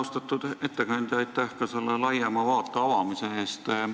Austatud ettekandja, aitäh ka selle laiema vaate avamise eest!